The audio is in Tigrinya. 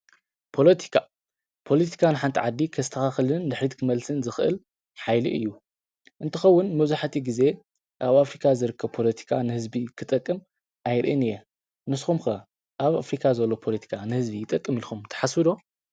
ፖለቲካ-ፖለቲካ ንሓንቲ ዓዲ ከስተኻኽልን ንድሕሪት ክመልስን ዝኽእል ሓይሊ እዩ፡፡ እንትኸውን መብዛሕትኡ ግዜ ኣብ ኣፍሪካ ዝርከብ ፖለቲካ ንህዝቢ ክጠቅም ኣይርእን እየ፡፡ ንስኹም ከ ኣብ ኣፍሪካ ዘሎ ፖለቲካ ንህዝቢ ይጠቅም ኢልኹም ትሓስቡ ዶ?